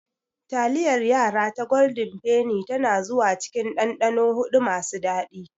Taliyar yara ta golden Penny tana zuwa cikin dandano huɗu masu daɗi.